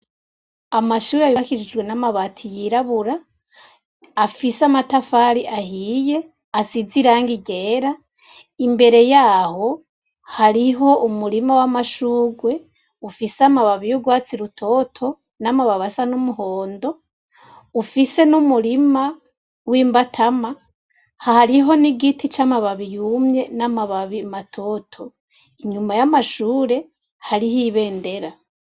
Amashure abibakishijwe n'amabati yirabura afise amatafari ahiye asize i range rera imbere yaho hariho umurima w'amashurwe ufise amababiyo urwatsi rutoto n'amababasa n'umuhondo ufise n'umurima w'imba atama hahariho ni'igiti c'amababi yumye n'amababi matoto inyuma y'amashure hariho ibendera.